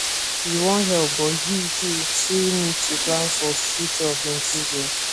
he wan help but he he too need to plan for future of in children